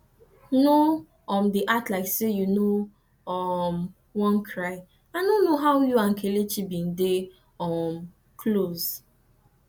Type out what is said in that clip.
no um dey act like say you no um wan cry i no how you and kelechi bin dey um close